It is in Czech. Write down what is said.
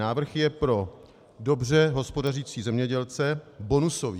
Návrh je pro dobře hospodařící zemědělce bonusový.